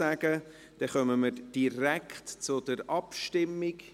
Dann kommen wir direkt zur Abstimmung.